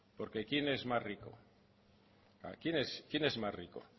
porque quién es más rico quién es más rico